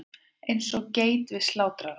Eins og geit við slátrarann.